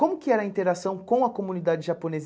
Como que era a interação com a comunidade japonesa?